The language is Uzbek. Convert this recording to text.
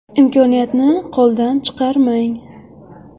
Imkoniyatni qo‘ldan chiqarmang!